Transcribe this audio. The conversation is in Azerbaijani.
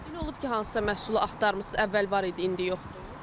Elə olub ki, hansısa məhsulu axtarmısınız, əvvəl var idi, indi yoxdur?